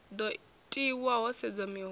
do tiwa ho sedzwa miholo